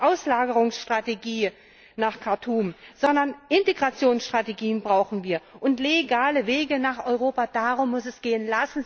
Auslagerungsstrategie nach Khartum, sondern Integrationsstrategien brauchen wir und legale Wege nach Europa, darum muss es gehen.